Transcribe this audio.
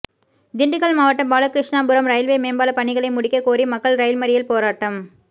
திண்டுக்கல் மாவட்டம் பாலகிருஷ்ணாபுரம் ரயில்வே மேம்பால பணிகளை முடிக்க கோரி மக்கள் ரயில் மறியல் போராட்டம்